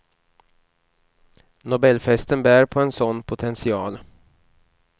Nobelfesten bär på en sådan potential.